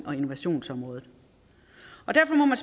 og innovationsområdet derfor må man